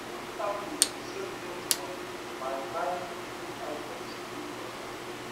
many families dey save plenty money by buying food items in big quantity